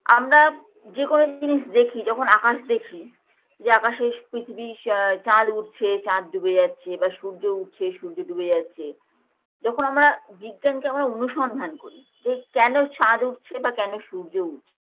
আমরা যেকোনো জিনিস দেখি যখন আকাশ দেখি যে আকাশে পৃথিবী আ চাঁদ উঠছে চাঁদ ডুবে যাচ্ছে বা সূর্য উঠছে সূর্য ডুবে যাচ্ছে যখন আমরা বিজ্ঞানকে আমরা অনুসন্ধান করি যে কেন চাঁদ উঠছে বা কেন সূর্য উঠছে